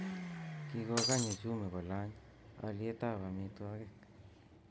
Kikokany uchumi kolany olyetab amitwogik